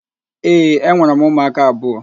Ee, enwere m ụmụaka abụọ.